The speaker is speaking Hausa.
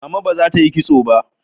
Mama ba za ta yi kitso ba.